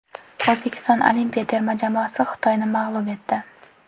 O‘zbekiston olimpiya terma jamoasi Xitoyni mag‘lub etdi .